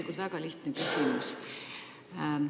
Mul on väga lihtne küsimus.